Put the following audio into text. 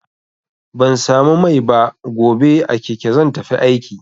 Ban samu mai ba, gobe a keke zan tafi aiki.